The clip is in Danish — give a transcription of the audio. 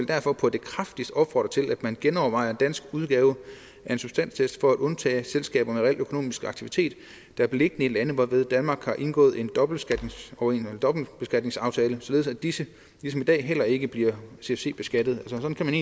derfor på det kraftigste opfordre til at man genovervejer en dansk udgave af en substanstest for at undtage selskaber med reel økonomisk aktivitet der er beliggende i lande hvormed danmark har indgået en dobbeltbeskatningsaftale således at disse ligesom i dag heller ikke bliver cfc beskattet sådan kan man